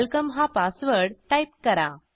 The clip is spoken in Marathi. वेलकम हा पासवर्ड टाईप करा